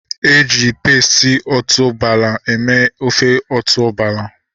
Eji pesti otuboala eme ofe otuboala